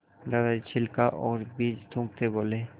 दादाजी छिलका और बीज थूकते बोले